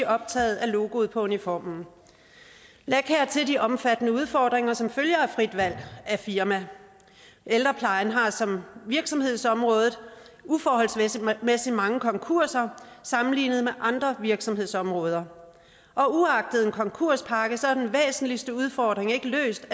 optaget af logoet på uniformen læg hertil de omfattende udfordringer som der følger af frit valg af firma ældreplejen har som virksomhedsområde uforholdsmæssigt mange konkurser sammenlignet med andre virksomhedsområder og uagtet en konkurspakke er den væsentligste udfordring ikke løst